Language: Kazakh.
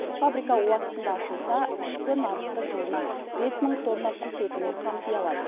фабрика уақытында ашылса ішкі нарықты жылына бес мың тонна құс етімен қамти алады